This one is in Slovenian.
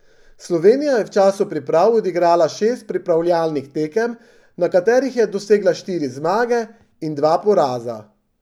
Slovenija je v času priprav odigrala šest pripravljalnih tekem, na katerih je dosegla štiri zmage in dva poraza.